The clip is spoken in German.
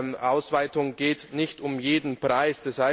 Eine Ausweitung geht nicht um jeden Preis.